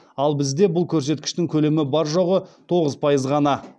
ал бізде бұл көрсеткіштің көлемі бар жоғы тоғыз пайыз ғана